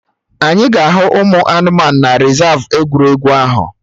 Anyị ga-ahụ ụmụ anụmanụ na rezav egwuregwu ahụ